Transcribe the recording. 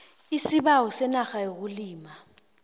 isibawo senarha yokulima